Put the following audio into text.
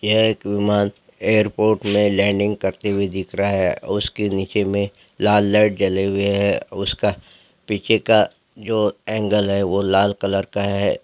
यह एक विमान एयरपोर्ट में लैंडिंग करते हुए दिख रहा है उसके नीचे में लाल लाइट जले हुए है उसका पीछे का जो एंगल है वो लाल कलर का है।